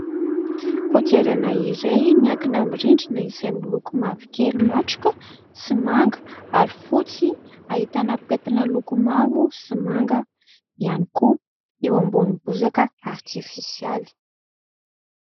Kodiarana iray miankina amin'ny rindrina izay miloko mavokely matroka sy manga ary fotsy ahitana pentina loko mavo sy manga ihany koa eo ambonin'ny bozaka artifisialy.